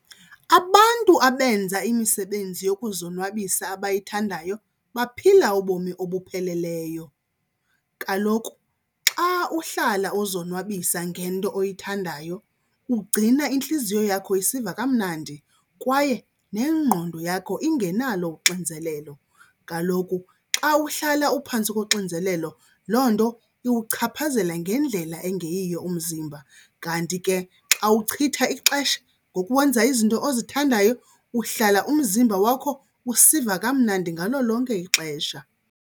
Abantu abenza imisebenzi yokuzonwabisa abayithandayo baphila ubomi obupheleleyo. Kaloku xa uhlala uzonwabisa ngento oyithandayo kugcina intliziyo yakho isiva kamnandi kwaye nengqondo yakho ingenalo uxinzelelo. Kaloku xa uhlala uphantsi koxinzelelo loo nto iwuchaphazela ngendlela engeyiyo umzimba, kanti ke xa uchitha ixesha ngokwenza izinto ozithandayo uhlala umzimba wakho usiva kamnandi ngalo lonke ixesha.